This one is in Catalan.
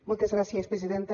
moltes gràcies presidenta